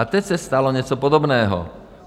A teď se stalo něco podobného.